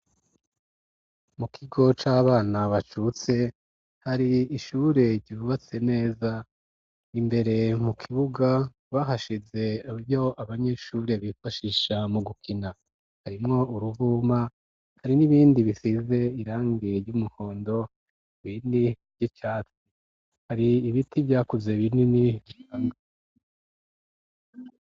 Mu kigo c'abana bacutse hari ishure ryiubatse neza imbere mu kibuga bahashize ryo abanyeshure bifashisha mu gukina harimwo uruvuma hari n'ibindi bisize irangie ry'umuhondo wini ry'icatsi hari ibiti vyakuze binini.